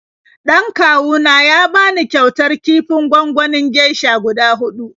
Dan kawu na ya bani kyautar kifin gwanganin geisha guda huɗu.